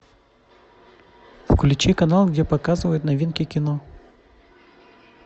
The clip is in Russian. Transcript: включи канал где показывают новинки кино